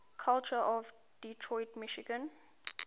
culture of detroit michigan